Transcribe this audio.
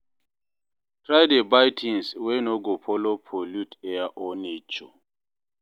try dey buy tins wey no go follow pollute air or nature